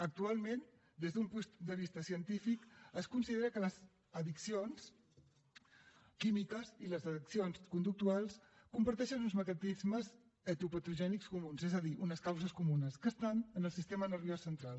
actualment des d’un punt de vista científic es considera que les addiccions químiques i les addiccions conductuals comparteixen uns mecanismes etiopatogènics comuns és a dir unes causes comunes que estan en el sistema nerviós central